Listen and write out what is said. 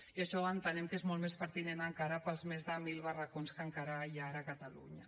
i això entenem que és molt més pertinent encara per als més de mil barracons que encara hi ha ara a catalunya